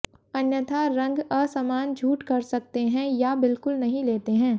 अन्यथा रंग असमान झूठ कर सकते हैं या बिल्कुल नहीं लेते हैं